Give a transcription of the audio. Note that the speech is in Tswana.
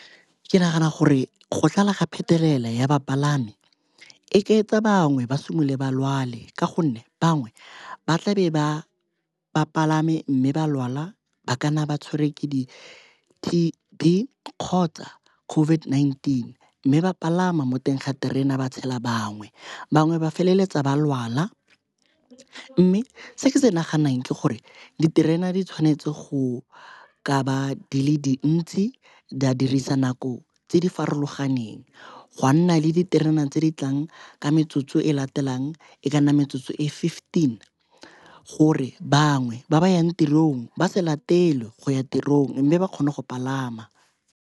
Ke nagana gore go tlala ga phetelela ya bapalami e ka etsa bangwe ba simolole ba lwale ka gonne bangwe ba tlabe ba bapalame, mme ba lwala ba kana ba tshwere ke di-T_B kgotsa COVID-19 mme ba palama mo teng ga terena ba tshela bangwe. Bangwe ba feleletsa ba lwala mme se ke se naganang ke gore diterena di tshwanetse go ka ba dile dintsi, di a dirisa nako tse di farologaneng, gwa nna le ditereneng tse di tlang ka metsotso e latelang e ka nna metsotso e fifteen gore bangwe ba ba yang tirong ba se latelwe go ya tirong mme ba kgone go palama.